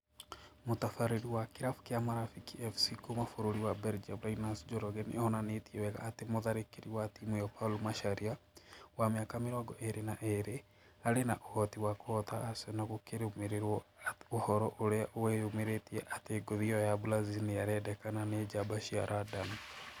Mũtabarĩri wa kĩrabu kĩa Marafiki FC kuma bũrũri wa Belgium Linus Njoroge nĩ onanĩtie wega atĩ mũtharĩkĩri wa timũ ĩyo Paul Macharia, wa mĩaka mĩrongo ĩrĩ na ĩrĩ, arĩ na ũhoti wa kũhota Arsenal gũkĩrũmĩrĩrwo ũhoro ũrĩa weyumĩririe atĩ ngũthi ĩyo ya Brazil nĩarendekana nĩ njamba cia London